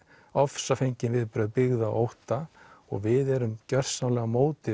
ofsafengin viðbrögð byggð á ótta og við erum gjörsamlega á móti